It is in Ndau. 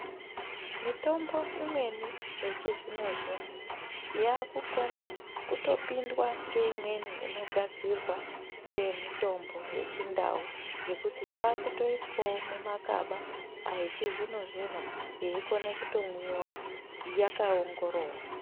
Mitombo imweni yechizvino zvino yaakukone kutopindwa ngeimweni inogadzirwa ngemitombo yechindau. Ngekuti yaakutoiswawo mumakaba echizvino zvino yeikone kutomwiwa yakaongororwa.